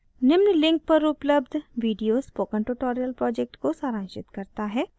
निम्न link पर उपलब्ध video spoken tutorial project को सारांशित करता है कृपया इसे देखें